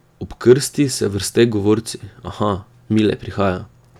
Ob krsti se vrste govorci, aha, Mile prihaja.